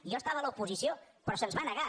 jo estava a l’oposició però se’ns va ne·gar